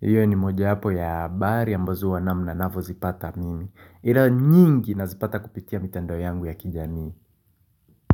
Iyo ni mojawapo ya habari ambazo huwa namna navyozipata mimi ila nyingi nazipata kupitia mitandao yangu ya kijamii.